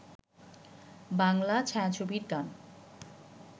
বাংলা ছায়াছবির গান